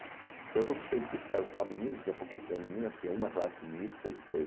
Porque eu fui para o científico, era só meninos, tinha pouquíssimas meninas, tinha uma classe mista e depois...